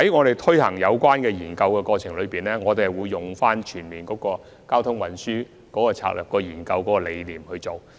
在進行有關研究的過程中，我們會採用全面的交通運輸策略研究理念。